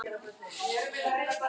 Svo einfalt er það nú.